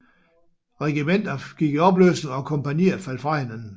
Regimenter gik i opløsning og kompagnier faldt fra hinanden